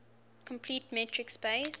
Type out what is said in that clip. complete metric space